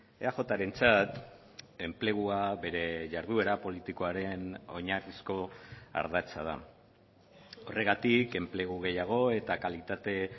eajrentzat enplegua bere jarduera politikoaren oinarrizko ardatza da horregatik enplegu gehiago eta kalitate